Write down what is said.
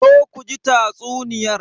Zo ku ji tatsuniyar.